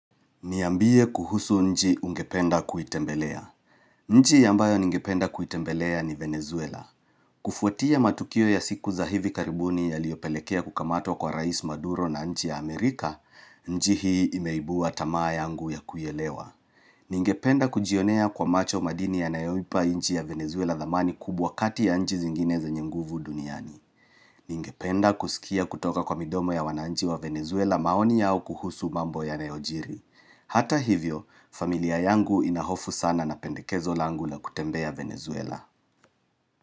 Niambie kuhusu nchi ungependa kuitembelea. Nchi ambayo ningependa kuitembelea ni Venezuela. Kufuatia matukio ya siku za hivi karibuni yaliyopelekea kukamatwa kwa Rais Maduro na nchi ya Amerika, nchi hii imeibua tamaa yangu ya kuielewa. Ningependa kujionea kwa macho madini yanayoipa nchi ya Venezuela thamani kubwa kati ya nchi zingine zenye nguvu duniani Ningependa kusikia kutoka kwa midomo ya wananchi wa Venezuela maoni yao kuhusu mambo yanayojiri Hata hivyo, familia yangu inahofu sana na pendekezo langu la kutembea Venezuela.